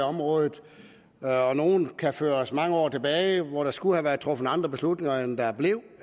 området og nogle kan føres mange år tilbage hvor der skulle have været truffet andre beslutninger end der blev